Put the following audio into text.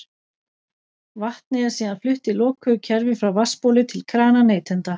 Vatnið er síðan flutt í lokuðu kerfi frá vatnsbóli til krana neytenda.